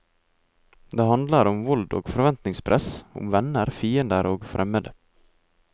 Det handler om vold og forventningspress, om venner, fiender og fremmede.